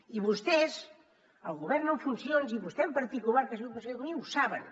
i vostès el govern en funcions i vostè en particular que és conseller d’economia ho saben